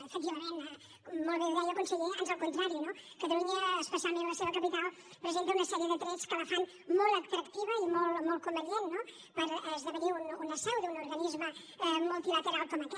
efectivament molt bé ho deia conseller ans al contrari no catalunya especialment la seva capital presenta una sèrie de trets que la fan molt atractiva i molt convenient per esdevenir una seu d’un organisme multilateral com aquest